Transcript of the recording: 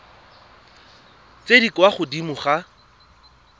tse di kwa godimo ga